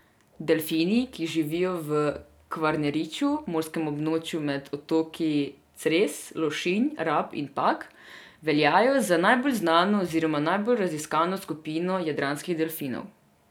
Delfini, ki živijo v Kvarneriću, morskem območju med otoki Cres, Lošinj, Rab in Pag, veljajo za najbolj znano oziroma najbolje raziskano skupino jadranskih delfinov.